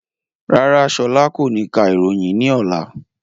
Rárá, ṣọlá kò ní ka ìròyìn ní ọlá